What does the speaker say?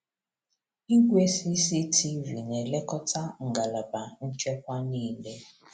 Igwe CCTV na-elekọta ngalaba nchekwa niile.